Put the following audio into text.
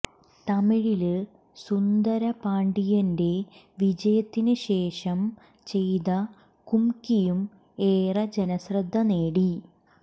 തമിഴില് സുന്ദരപാണ്ടിയന്റെ വിജയത്തിന് ശേഷം ചെയ്ത കുംമ്ക്കിയും ഏറെ ജനശ്രദ്ധ നേടി